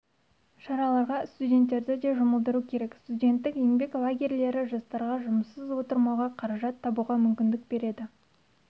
шараларға студенттерді де жұмылдыру керек студенттік еңбек лагерьлері жастарға жұмыссыз отырмауға қаражат табуға мүмкіндік береді